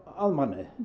að manni